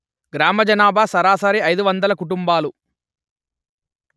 గ్రామ జనాభా సరాసరి అయిదు వందలు కుటుంబాలు